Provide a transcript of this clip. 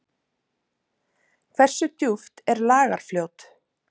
Hversu djúpt er Lagarfljót?